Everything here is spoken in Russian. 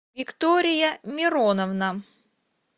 виктория мироновна